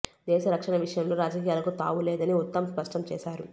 దేశ రక్షణ విషయంలో రాజకీయాలకు తావు లేదని ఉత్తమ్ స్పష్టం చేశారు